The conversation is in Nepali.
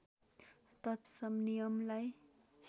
तत्सम नियमलाई